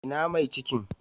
Ina mai cikin?